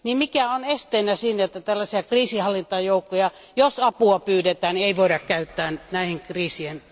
Mikä on esteenä sille, ettei tällaisia kriisinhallintajoukkoja, jos apua pyydetään, voitaisi käyttää näihin kriiseihin?